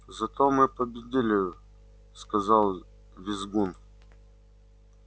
зато мы победили сказал визгун